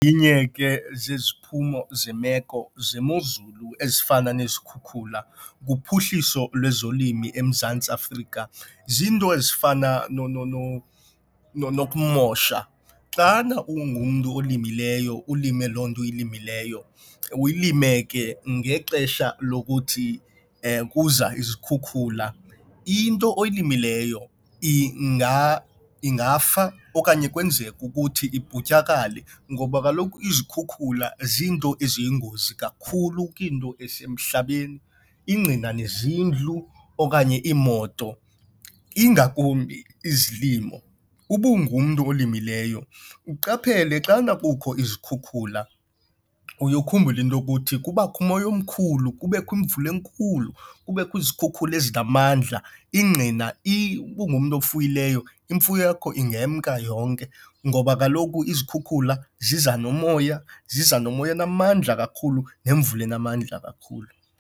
Linye ke zeziphumo zemeko zemozulu ezifana nezikhukhula kuphuhliso lwezolimo eMzantsi Afrika, ziinto ezifana nokumosha. Xana ungumntu olimileyo ulime loo nto uyilimileyo, uyilime ke ngexesha lokuthi kuza izikhukhula, into oyilimileyo ingafa okanye kwenzeke ukuthi iputyakale ngoba kaloku izikhukhula ziinto eziyingozi kakhulu kwinto ezisemhlabeni. Ingqina nezindlu okanye iimoto ingakumbi izilimo. Uba ngumntu olimileyo uqaphele xana kukho izikhukhula uye ukhumbule into yokuthi kubakho umoya omkhulu kubekho imvula enkulu, kubekho izikhukhula ezingamandla. Ingqina uba ngumntu ofuyileyo imfuyo yakho engemka yonke ngoba kaloku izikhukhula ziza nomoya, ziza nomoya onamandla kakhulu nemvula enamandla kakhulu.